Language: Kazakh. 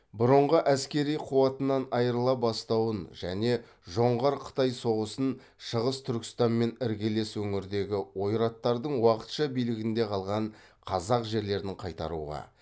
бұрынғы әскери қуатынан айырыла бастауын және жоңғар қытай соғысын шығыс түркістанмен іргелес өңірдегі ойраттардың уақытша билігінде қалған қазақ жерлерін қайтаруға